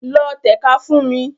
Lọ tẹ̀ka fún mi!